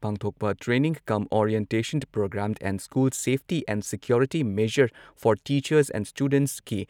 ꯄꯥꯡꯊꯣꯛꯄ training cum orientation programme on school safety and security measures for teachers and ꯁ꯭ꯇꯨꯗꯦꯟꯠꯁꯀꯤ